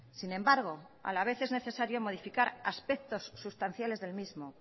sin embargo a la vez es necesario modificar aspectos sustanciales del mismo